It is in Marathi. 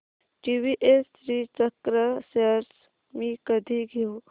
टीवीएस श्रीचक्र शेअर्स मी कधी घेऊ